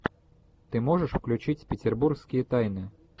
ты можешь включить петербургские тайны